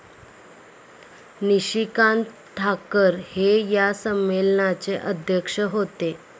निशिकांत ठाकर हे या संमेलनाचे अध्यक्ष होते ।